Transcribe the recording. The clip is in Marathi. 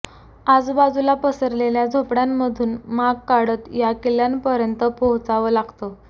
आजुबाजूला पसरलेल्या झोपड्यांमधून माग काढत या किल्ल्यापर्यंत पोहोचावं लागतं